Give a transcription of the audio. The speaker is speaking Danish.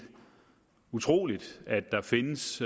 utroligt at der findes